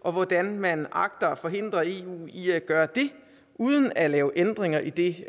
og hvordan man agter at forhindre eu i at gøre det uden at lave ændringer i